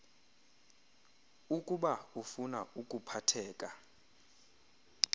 ukuba ufuna ukuphatheka